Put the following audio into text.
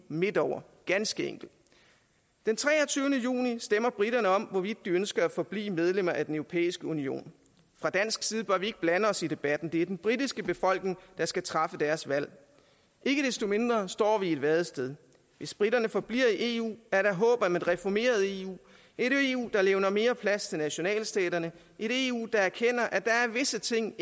midt over ganske enkelt den treogtyvende juni stemmer briterne om hvorvidt de ønsker at forblive medlem af den europæiske union fra dansk side bør vi ikke blande os i debatten det er den britiske befolkning der skal træffe deres valg ikke desto mindre står vi i et vadested hvis briterne forbliver i eu er der håb om et reformeret eu et eu der levner mere plads til nationalstaterne et eu der erkender at der er visse ting